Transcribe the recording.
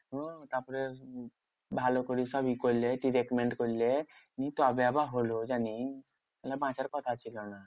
হ্যাঁ তারপরে উম ভালো করে সব ই করলে treatment করলে তবে আবার হলো জানিস্ নাহলে বাঁচার কথা ছিল না।